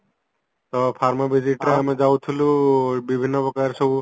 ତ farmer visit ର ଆମେ ଯାଉଥିଲୁ ବିଭିନ୍ନ ପ୍ରକାର ସବୁ